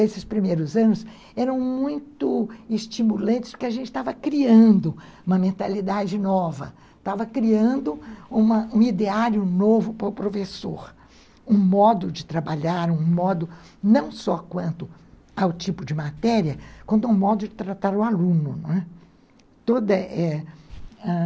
esses primeiros anos eram muito estimulantes, porque a gente estava criando uma mentalidade nova, estava criando uma um ideário novo para o professor, um modo de trabalhar, um modo não só quanto ao tipo de matéria, quanto ao modo de tratar o aluno.